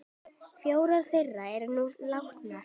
Fjórar þeirra eru nú látnar.